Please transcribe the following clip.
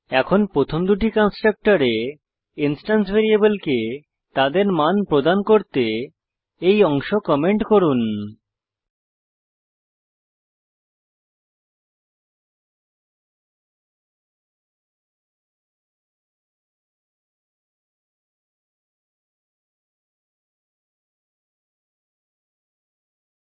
এখন প্রথম দুটি কন্সট্রাকটরে ইন্সট্যান্স ভ্যারিয়েবলকে তাদের মান প্রদান করতে এই অংশ কমেন্ট করুন